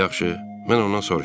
Yaxşı, mən ondan soruşaram.